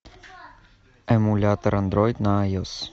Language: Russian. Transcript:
эмулятор андроид на айос